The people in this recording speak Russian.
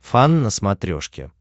фан на смотрешке